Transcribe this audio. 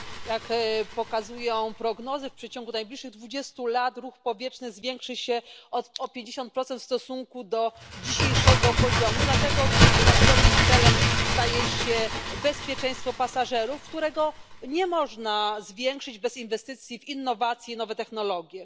Jak pokazują prognozy, w przeciągu najbliższych 20 lat ruch powietrzny zwiększy się o 50 procent w stosunku do dzisiejszego poziomu. Dlatego oczywiście nadrzędnym celem staje się bezpieczeństwo pasażerów, którego nie można zwiększyć bez inwestycji w innowacje i nowe technologie.